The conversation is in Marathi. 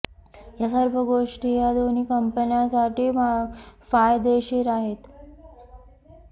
या सर्व गोष्टी या दोन्ही कंपन्यांसाठी फायदेशीर आहेत